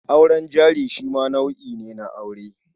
Auren jari shi ma nau'i ne na aure.